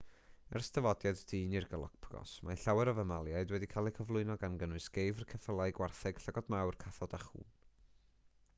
ers dyfodiad dyn i'r galapagos mae llawer o famaliaid wedi cael eu cyflwyno gan gynnwys geifr ceffylau gwartheg llygod mawr cathod a chŵn